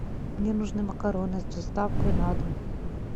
мне нужны макароны с доставкой на дом